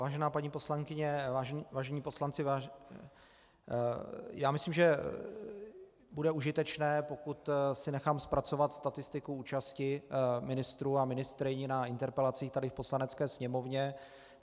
Vážená paní poslankyně, vážení poslanci, já myslím, že bude užitečné, pokud si nechám zpracovat statistiku účasti ministrů a ministryň na interpelacích tady v Poslanecké sněmovně.